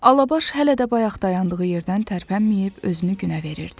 Alabaş hələ də bayaq dayandığı yerdən tərpənməyib özünü günə verirdi.